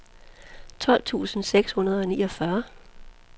tolv tusind seks hundrede og niogfyrre